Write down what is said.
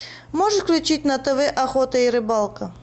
можешь включить на тв охота и рыбалка